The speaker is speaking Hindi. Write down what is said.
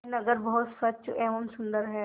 यह नगर बहुत स्वच्छ एवं सुंदर है